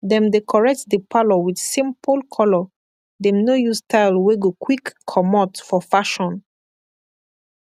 dem dekorate di parlor wit simpol kolor dem nor yus style wey go kwik komot for fashion